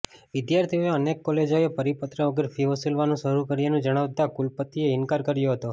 વિદ્યાર્થીઓએ અનેક કોલેજોએ પરિપત્ર વગર ફી વસૂલવાનું શરૂ કર્યાનું જણાવતા કુલપતિએ ઈન્કાર કર્યો હતો